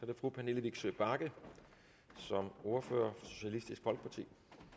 det fru pernille vigsø bagge som ordfører for socialistisk folkeparti